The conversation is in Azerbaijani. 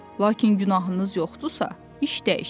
Lakin günahınız yoxdursa, iş dəyişir.